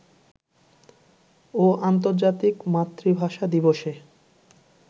ও আর্ন্তর্জাতিক মাতৃভাষা দিবসে